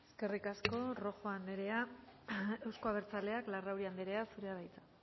eskerrik asko rojo andrea euzko abertzaleak larrauri andrea zurea da hitza